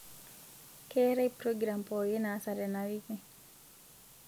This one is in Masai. keetae progiram poooki naasa tena wiki